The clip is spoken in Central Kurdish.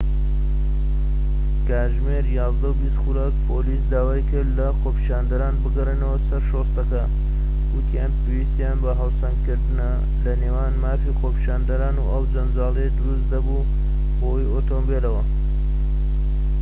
کاتژمێر ١١:٢٠ خولەك پۆلیس داوای کرد لە خۆپیشاندەران بگەڕێنەوە سەر شۆستەکە، وتیان پێویستیان بە هاوسەنگکردنە لەنێوان مافی خۆپیشاندان و ئەو جەنجاڵیەی دروست دەبوو بەهۆی ئۆتۆمبیلەکەوە